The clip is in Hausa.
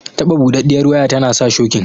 Taɓa buɗaɗɗiyar waya tana sa shokin